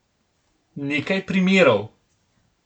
Nekaj primerov.